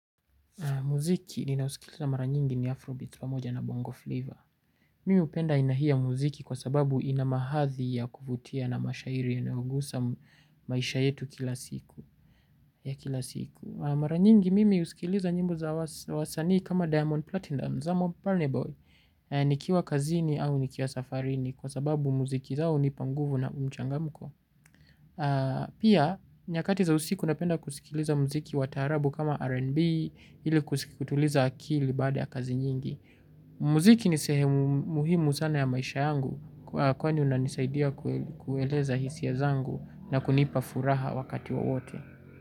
Muziki ninausikiliza mara nyingi ni Afrobit pamoja na Bongo Flavor. Mimi hupenda aina hii ya muziki kwa sababu inamahadhi ya kuvutia na mashairi yanayogusa maisha yetu kila siku. Mara nyingi mimi husikiliza nyimbo za wasanii kama Diamond Platinum za Moparneboy. Nikiwa kazini au nikiwasafarini, kwa sababu muziki zao hunipa nguvu na mchangamko. Pia, nyakati za usiku ninapenda kusikiliza muziki wa taarabu kama R&B. Ili kutuliza akili baada ya kazi nyingi. Muziki ni sehemu muhimu sana ya maisha yangu. Kwani unanisaidia kueleza hisia zangu na kunipa furaha wakati wowote.